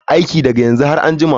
Aiki daga yanzu har a jima.